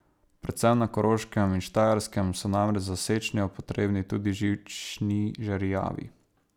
Predvsem na Koroškem in Štajerskem so namreč za sečnjo potrebni tudi žični žerjavi.